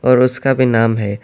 اور اُس کا بھی نام ہے۔